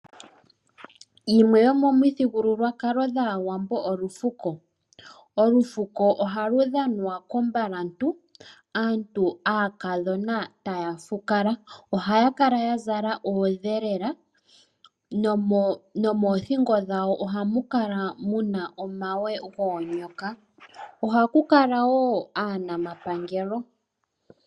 Yimwe yo yomomithigululwakalo dhaawambo olufuko . olufuko ohalu dhanwa kombalantu aantu aakadhona taya fukala . Ohaya kala yazala oondhelela nomoothingo dhawo ohamukala muna omagwe goonyoka .ohakukala woo aanamapengelo